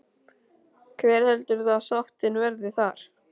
Hver heldur þú að sáttin verði þar?